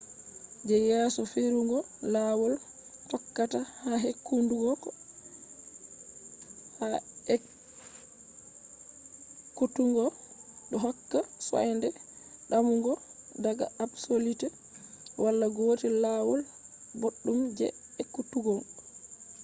je yesoferugo lawol tokkata ha ekkutuggo do hokka soinde damugo daga absolute. wala gotel lawol boddum je ekkutuggo